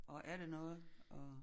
Og er det noget og